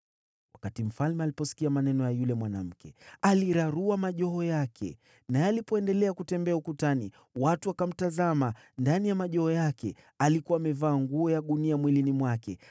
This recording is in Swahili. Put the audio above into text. Wakati mfalme aliposikia maneno ya yule mwanamke, alirarua mavazi yake. Naye alipoendelea kutembea ukutani, watu wakamtazama, na ndani ya mavazi yake alikuwa amevaa nguo ya gunia mwilini mwake.